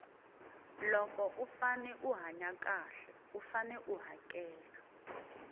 loko u fane u hanya xahle u fane u hakela